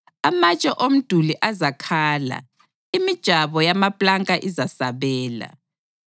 Amatshe omduli azakhala imijabo yamapulanka izasabela.